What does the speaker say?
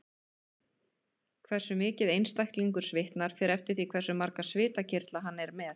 Hversu mikið einstaklingur svitnar fer eftir því hve marga svitakirtla hann er með.